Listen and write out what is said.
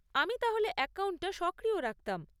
আমি তাহলে অ্যাকাউন্টটা সক্রিয় রাখতাম।